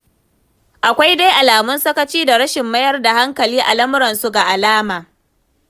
Akwai dai alamun sakaci da rashin mayar da hankali a lamuransu ga alama.